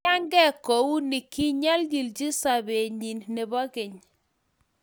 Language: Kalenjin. kiyaigei kuuni kinyalilchi sobet nyin nebo keny.